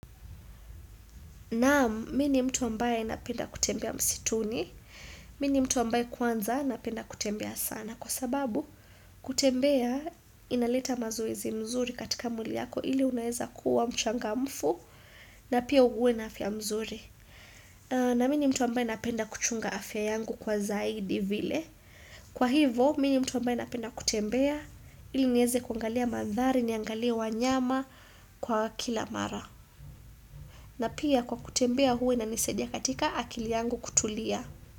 Naam, mimi ni mtu ambaye napenda kutembea msituni, mimi mtu ambaye kwanza napenda kutembea sana. Kwa sababu, kutembea inaleta mazoezi mzuri katika mwili yako ili unaeza kuwa mchangamfu na pia uwe na afya mzuri. Na mini mtu ambaye napenda kuchunga afya yangu kwa zaidi vile. Kwa hivo, mi ni mtu ambaye napenda kutembea ili nieze kuangalia madhari, niangalie wanyama kwa kila mara. Na pia kwa kutembea huwa inanisaidia katika akili yangu kutulia.